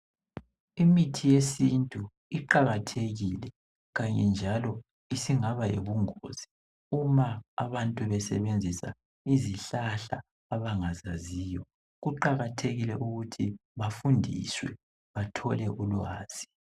imithi yesintu iqakathekile njalo isingaba yibungozi uma abantu besebenzisa izihlahla abangazaziyo kuqakathekile ukuba bafundiswe bathole ulwazi